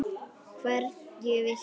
Hverju viltu áorka?